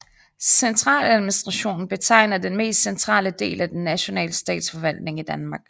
Centraladministrationen betegner den mest centrale del af den nationale statsforvaltning i Danmark